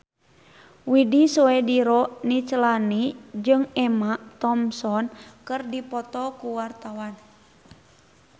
Widy Soediro Nichlany jeung Emma Thompson keur dipoto ku wartawan